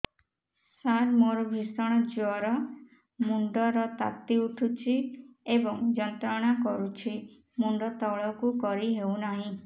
ସାର ମୋର ଭୀଷଣ ଜ୍ଵର ମୁଣ୍ଡ ର ତାତି ଉଠୁଛି ଏବଂ ଯନ୍ତ୍ରଣା କରୁଛି ମୁଣ୍ଡ ତଳକୁ କରି ହେଉନାହିଁ